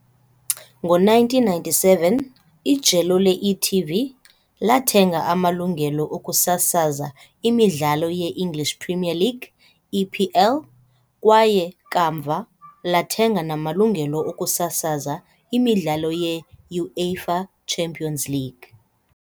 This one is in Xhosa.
Ngo-1997, ijelo le-e.tv lathenga amalungelo okusasaza imidlalo ye-English Premier League, EPL, kwaye, kamva, lathenga namalungelo okusasaza imidlalo ye-UEFA Champions League .